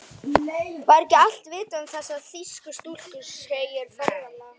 Var ekki allt vitað um þessar þýsku stúlkur, segir ferðalangur.